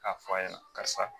A fɔ a ye karisa